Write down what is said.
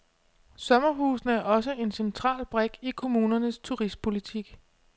Sommerhusene er også en central brik i kommunernes turistpolitik.